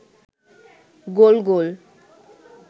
গোল গোল